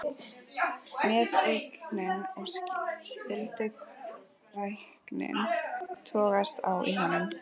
Meðaumkunin og skylduræknin togast á í honum.